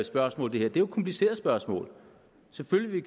spørgsmål det er jo et kompliceret spørgsmål selvfølgelig vil